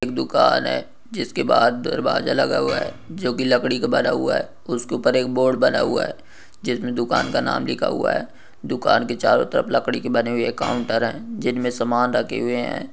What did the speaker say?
एक दुकान है जिसके बाहर दरवाजा लगा हुआ है जो कि लकड़ी का बना हुआ है उसके ऊपर एक बोर्ड बना हुआ है जिसे दुकान का नाम लिखा हुआ है दुकान के चारो तरफ लकड़ी के बने हुए काउंटर है जिनमे सामान रखे हुए है।